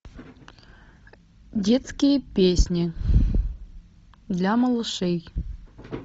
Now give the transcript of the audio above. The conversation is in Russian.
детские песни для малышей